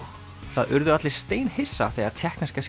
það urðu allir steinhissa þegar tékkneska